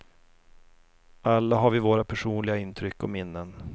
Alla har vi våra personliga intryck och minnen.